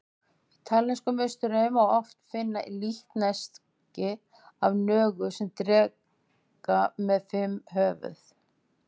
Í taílenskum musterum má oft finna líkneski af nögu sem dreka með fimm höfuð.